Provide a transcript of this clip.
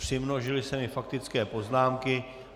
Přimnožily se mi faktické poznámky.